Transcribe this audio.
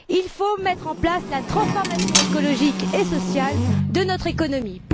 Il faut mettre en place la transformation écologique et sociale de notre économie.